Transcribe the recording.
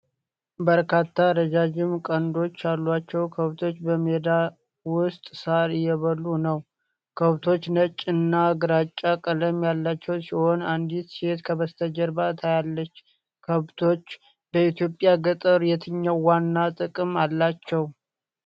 በርካታ ረዣዥም ቀንዶች ያሏቸው ከብቶች በሜዳ ውስጥ ሳር እየበሉ አሉ። ከብቶቹ ነጭ እና ግራጫ ቀለም ያላቸው ሲሆኑ፣ አንዲት ሴት ከበስተጀርባ ታያለች። ከብቶች በኢትዮጵያ ገጠሮች የትኛው ዋና ጥቅም አላቸው?